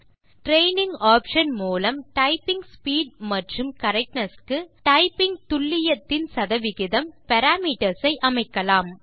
training options மூலம் typing speed மற்றும் correctness க்குடைப்பிங் துல்லியத்தின் சதவிகிதம் பாராமீட்டர்ஸ் ஐ அமைக்கலாம்